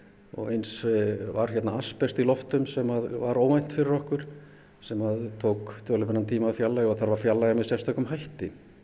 og eins var hérna asbest í lofti sem var óvænt fyrir okkur sem tók töluverðan tíma að fjarlægja og þarf að fjarlægja með sérstökum hætti